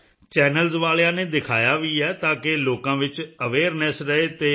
channels ਵਾਲਿਆਂ ਨੇ ਦਿਖਾਇਆ ਵੀ ਹੈ ਤਾਂ ਕਿ ਲੋਕਾਂ ਵਿੱਚ ਅਵੇਅਰਨੈੱਸ ਰਹੇ ਅਤੇ